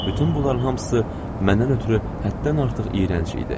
Bütün bunların hamısı məndən ötrü həddən artıq iyrənc idi.